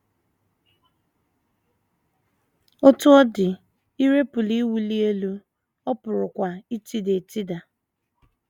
Otú ọ dị, ire pụrụ iwuli elu, ọ pụkwara itida etida.